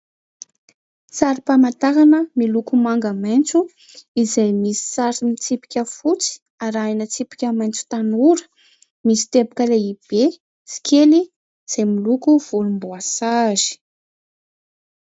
Sarim-pamatarana miloko manga maitso izay misy sary mitsipika fotsy arahina tsipika maitso tanora, misy teboka lehibe sy kely izay miloko volomboasary.